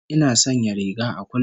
Ina sanya riga a kullum